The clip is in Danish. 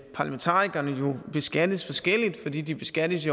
parlamentarikerne jo beskattes forskelligt fordi de beskattes